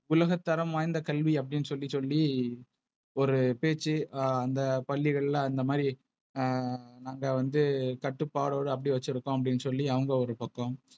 உலகத்தரம் வாய்ந்த கல்வி அப்டினு சொல்லி சொல்லி ஒரு பேச்சு ஆஹ் அந்த பள்ளிகள்ல அந்த மாரி நாங்க வந்து கட்டுப்பாடு அப்படி வச்சிருக்கு அப்டினு சொல்லி அவங்க ஒரு பக்கம்.